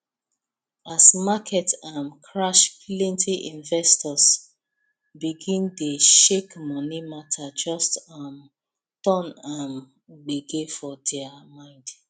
as market um crash plenty investors begin dey shakemoney matter just um turn um gbege for their mind